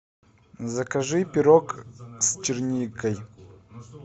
закажи пирог с черникой